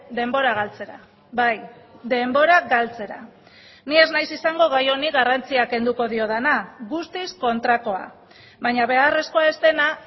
denbora galtzera bai denbora galtzera ni ez naiz izango gai honi garrantzia kenduko diodana guztiz kontrakoa baina beharrezkoa ez dena